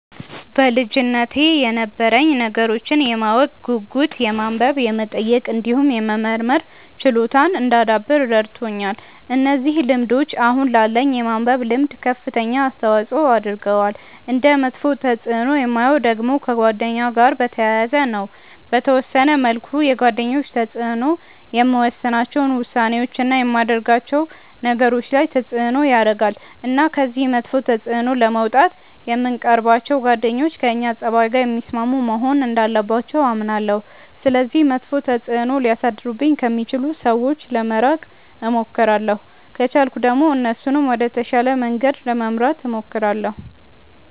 በልጅነቴ የነበረኝ ነገሮችን የማወቅ ጉጉት የማንበብ የመጠየቅ እንዲሁም የመመርመር ችሎታን እንዳዳብር ረድቶኛል። እነዚህ ልምዶች አሁን ላለኝ የማንበብ ልምድ ከፍተኛ አስተዋጽዖ አድርገዋል። እንደ መጥፎ ተፅእኖ የማየው ደግሞ ከጓደኛ ጋር በተያያዘ ነው። በተወሰነ መልኩ የጓደኞች ተጽእኖ የምወስናቸው ውሳኔዎች፣ እና የማደርጋቸው ነገሮች ላይ ተጽእኖ ያረጋል። እና ከዚህ መጥፎ ተጽእኖ ለመውጣት የምንቀርባቸው ጓደኞች ከእኛ ፀባይ ጋር የሚስማሙ መሆን እንዳለባቸው አምናለሁ። ስለዚህ መጥፎ ተጽእኖ ሊያሳድሩብኝ ከሚችሉ ሰዎች ለመራቅ እሞክራለሁ። ከቻልኩ ደግሞ እነሱንም ወደ ተሻለ መንገድ ለመምራት እሞክራለሁ።